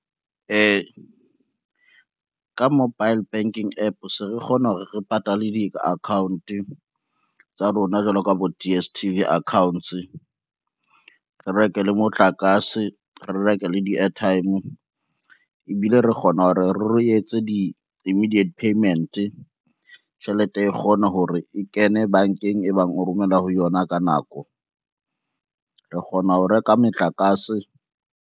Ka mobile banking app se re kgona hore re patale di-account tsa rona jwalo ka bo D_S_T_V accounts, re reke le motlakase, re reke le di-airtime ebile re kgona hore re etse di-imediate payment. Tjhelete e kgona hore e kene bankeng e bang o romella ho yona ka nako, re kgona ho reka metlakase.